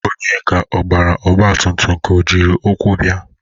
Onyeka ọ gbara ọgbatụmtụm ka o jiri ụkwụ bia?